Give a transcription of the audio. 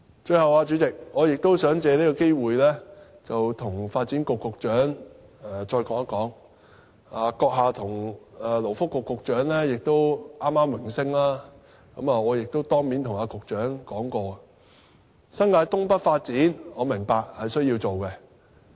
最後，主席，我想藉這個機會跟發展局局長說一說，閣下跟勞工及福利局局長剛剛榮升，我曾經當面跟局長說過，我明白新界東北發展需要進行。